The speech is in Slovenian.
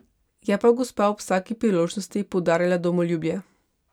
Je pa gospa ob vsaki priložnosti poudarjala domoljubje.